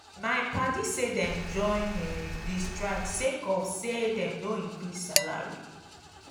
my padi say dem join um di strike sake of sey dem no increase salary.